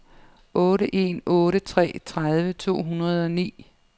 otte en otte tre tredive to hundrede og ni